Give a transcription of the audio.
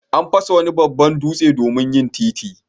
An fasa wani babban dutse domin yin titi.